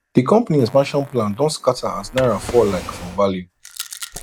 the company expansion plan don scatter as naira fall like for value